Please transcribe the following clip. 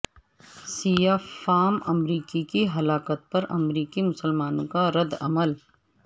سیاہ فام امریکی کی ہلاکت پر امریکی مسلمانوں کا ردعمل